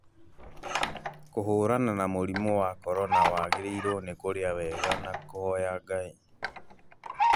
Kũharana na mũrimũ wa corona wagĩrĩirwo nĩ kũrĩa wega na kũhoya Ngai